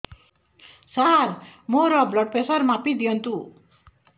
ସାର ମୋର blood pressure ମାପି ଦିଅନ୍ତୁ